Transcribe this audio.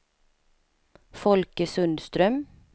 Folke Sundström